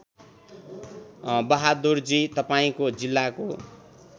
बहादुरजी तपाईँको जिल्लाको